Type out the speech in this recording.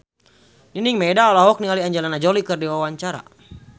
Nining Meida olohok ningali Angelina Jolie keur diwawancara